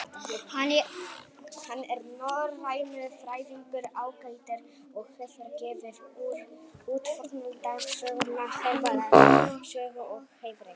Hann er norrænufræðingur ágætur og hefur gefið út fornaldarsöguna Hervarar sögu og Heiðreks.